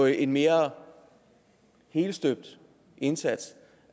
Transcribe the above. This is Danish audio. en mere helstøbt indsats